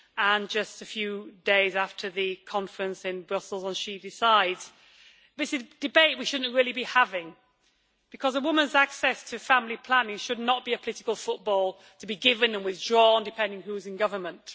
and just a few days after the conference in Brussels on She Decides'. This is a debate we should not really be having, because a woman's access to family planning should not be a political football to be given and withdrawn depending on who is in government.